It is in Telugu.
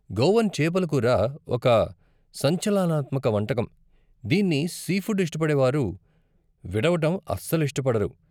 గోవన్ చేపల కూర ఒక సంచలనాత్మక వంటకం, దీన్ని సీఫుడ్ ఇష్టపడేవారు విడవటం అస్సలు ఇష్టపడరు.